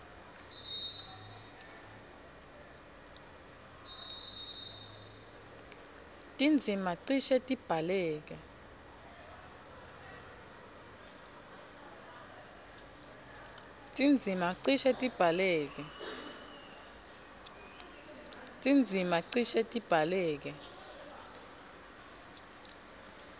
tindzima cishe tibhaleke